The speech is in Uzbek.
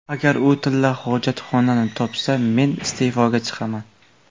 Agar u tilla hojatxonani topsa, men iste’foga chiqaman.